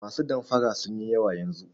Masu damfara sun yi yawa yanzu.